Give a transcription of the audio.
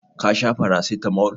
Ka sha paracetamol?